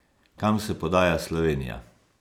Kam se podaja Slovenija?